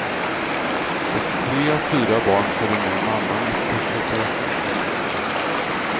Och tre av fyra barn följer med mamman efter separationen.